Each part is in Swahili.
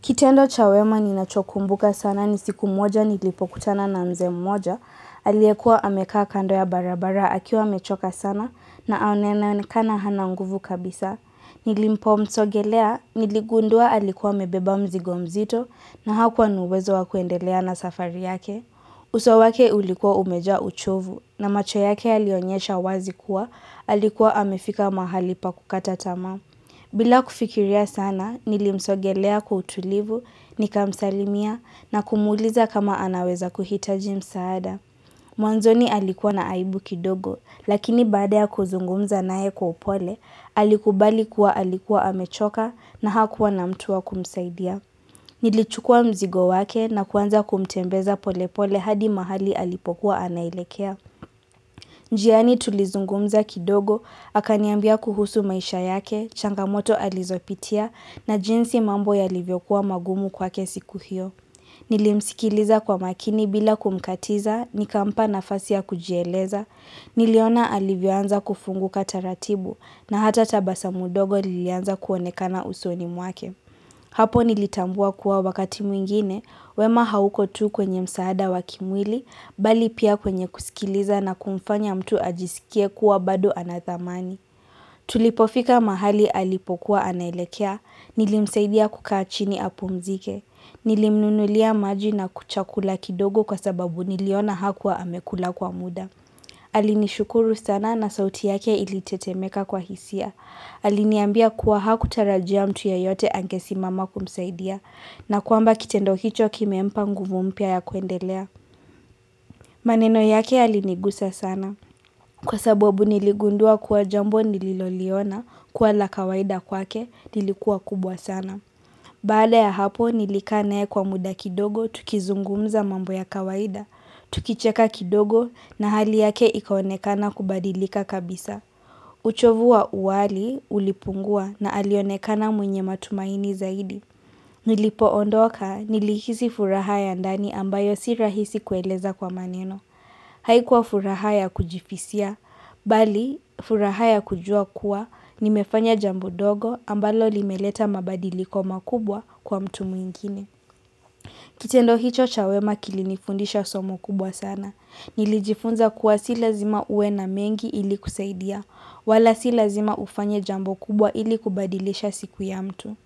Kitendo cha wema ninachokumbuka sana ni siku moja nilipokutana na mzee mmoja, aliekua amekaa kando ya barabara akiwa amechoka sana na anaonekana hana nguvu kabisa. Nilimpomsogelea, niligundua alikuwa amebeba mzigo mzito na hakuwa na uwezo wa kuendelea na safari yake. Uso wake ulikua umejaa uchovu na macho yake yalionyesha wazi kuwa alikuwa amefika mahali pakukata tamaa. Bila kufikiria sana, nilimsogelea kwa utulivu, nikamsalimia na kumuuliza kama anaweza kuhitaji msaada. Mwanzoni alikuwa na aibu kidogo, lakini baada ya kuzungumza nae kwa upole, alikubali kuwa alikuwa amechoka na hakuwa na mtu wa kumsaidia. Nilichukua mzigo wake na kuanza kumtembeza pole pole hadi mahali alipokuwa anaelekea. Njiani tulizungumza kidogo, akaniambia kuhusu maisha yake, changamoto alizopitia na jinsi mambo ya livyokuwa magumu kwake siku hiyo. Nilimsikiliza kwa makini bila kumkatiza, nikampa nafasi ya kujieleza, niliona alivyoanza kufunguka taratibu na hata tabasamu dogo lilianza kuonekana usoni mwake. Hapo nilitambua kuwa wakati mwingine, wema hauko tu kwenye msaada wakimwili, bali pia kwenye kusikiliza na kumfanya mtu ajisikie kuwa bado anadhamani. Tulipofika mahali alipokuwa anaelekea, nilimsaidia kukaa chini apumzike, nilimnunulia maji na chakula kidogo kwa sababu niliona hakuwa amekula kwa muda. Alinishukuru sana na sauti yake ilitetemeka kwa hisia Aliniambia kuwa hakutarajia mtu yeyote angesimama kumsaidia na kwamba kitendo kicho kimempa nguvu mpya ya kuendelea maneno yake yalinigusa sana kwasababu niligundua kuwa jambo nililoliona kua la kawaida kwake nilikuwa kubwa sana Baada ya hapo nilika nae kwa muda kidogo tukizungumza mambo ya kawaida Tukicheka kidogo na hali yake ikaonekana kubadilika kabisa uchovu wa uwali ulipungua na alionekana mwenye matumaini zaidi Nilipo ondoka nilikihisi furaha ya ndani ambayo si rahisi kueleza kwa maneno Haikuwa furaha ya kujifisia Bali furaha ya kujua kuwa nimefanya jambo dogo ambalo limeleta mabadiliko makubwa kwa mtu mwingine Kitendo hicho cha wema kilinifundisha somo kubwa sana nilijifunza kuwa si lazima uwe na mengi ili kusaidia, wala si lazima ufanye jambo kubwa ili kubadilisha siku ya mtu.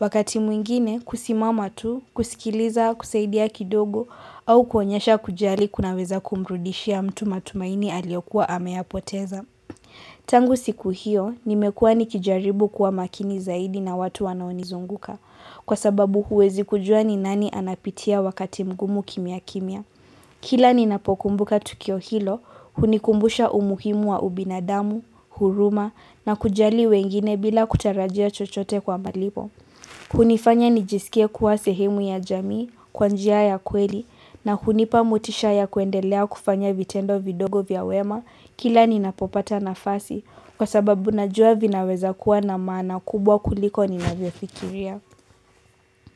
Wakati mwingine, kusimama tu, kusikiliza, kusaidia kidogo, au kuonyesha kujali kunaweza kumrudishia mtu matumaini aliokua ameyapoteza. Tangu siku hiyo, nimekuwa nikijaribu kuwa makini zaidi na watu wanaonizunguka, kwa sababu huwezi kujua ni nani anapitia wakati mgumu kimya kimya. Kila ninapokumbuka tukio hilo, hunikumbusha umuhimu wa ubinadamu, huruma, na kujali wengine bila kutarajia chochote kwa malipo. Hunifanya nijisikie kuwa sehemu ya jamii, kwa njia ya kweli, na hunipa motisha ya kuendelea kufanya vitendo vidogo vya wema, kila ninapopata nafasi, kwa sababu najua vinaweza kuwa na maana kubwa kuliko ninavyofikiria.